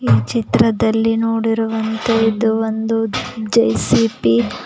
ಚಿತ್ರದಲ್ಲಿ ನೋಡಿರುವಂತೆ ಇದು ಒಂದು ಜೆ_ಸಿ_ಪಿ .